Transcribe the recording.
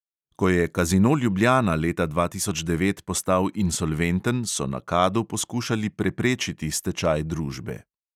Ko je kazino ljubljana leta dva tisoč devet postal insolventen, so na kadu poskušali preprečiti stečaj družbe.